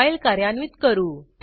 file कार्यान्वित करू